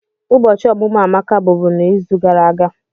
Ụbọchị ọmụmụ Amaka bụbu n'izu gara aga.